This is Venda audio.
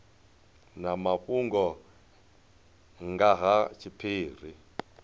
na mafhungo nga ha tshiphiri